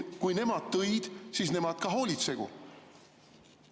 Kui nemad tõid, siis nemad hoolitsegu.